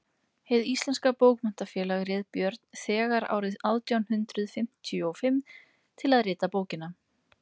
hið íslenska bókmenntafélag réð björn þegar árið átján hundrað fimmtíu og fimm til að rita bókina